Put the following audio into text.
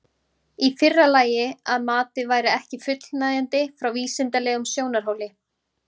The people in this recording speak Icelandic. Í fyrra lagi að matið væri ekki fullnægjandi frá vísindalegum sjónarhóli.